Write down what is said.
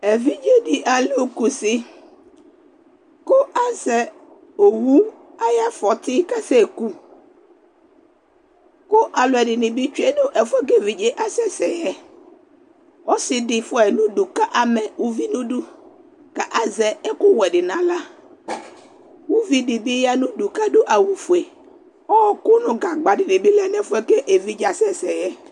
evidze di alò kusi kó azɛ owu ayi afɔti kasɛ ku kó alo ɛdini bi tsue no ɛfoɛ ko evidze asɛ sɛ yɛ ɔse di fua yi no udu ko ama uvi no idu ko azɛ ɛkò wɛ di no ala uvi di bi ya no udu ko ado awu fue ɔko no gagba di bi lɛ no ɛfoɛ ko evidze asɛ sɛ yɛ